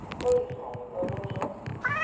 ஒன்பது நிமிஷமா மொத்தம் எவ்வளவு நிமிஷம்